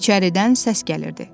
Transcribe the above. İçəridən səs gəlirdi.